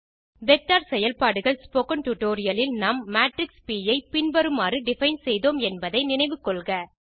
vector செயல்பாடுகள் spoken tutorial இல் நாம் மேட்ரிக்ஸ் ப் ஐ பின்வருமாறு டிஃபைன் செய்தோம் என்பதை நினைவில் கொள்க